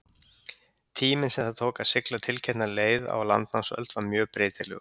tíminn sem það tók að sigla tiltekna leið á landnámsöld var mjög breytilegur